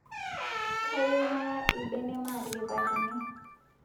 kayieu naya lbene maatiripakini